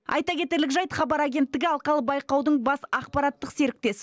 айта кетерлік жайт хабар агенттігі алқалы байқаудың бас ақпараттық серіктес